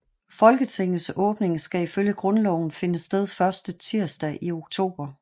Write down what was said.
Folketingets åbning skal ifølge Grundloven finde sted første tirsdag i oktober